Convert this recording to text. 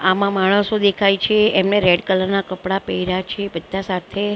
આમા માણસો દેખાય છે એમને રેડ કલર ના કપડાં પહેર્યા છે બધા સાથે--